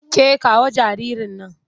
Ke kawo jaririn nan!